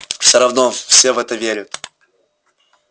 всё равно все в это верят